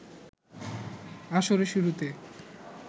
আসরে শুরুতে